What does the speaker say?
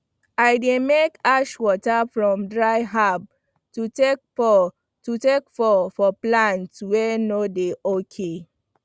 i dey make ash water from dry herb to take pour to take pour for plant wey no dey ok